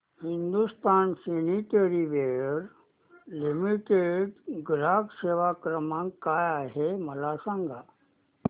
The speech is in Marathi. हिंदुस्तान सॅनिटरीवेयर लिमिटेड चा ग्राहक सेवा क्रमांक काय आहे मला सांगा